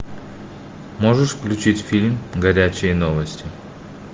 можешь включить фильм горячие новости